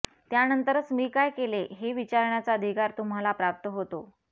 त्यानंतरच मी काय केले हे विचारण्याचा अधिकार तुम्हाला प्राप्त होतो